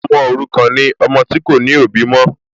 Ọmọ òrukàn ni ọmọ tí kò ní òbí mọ́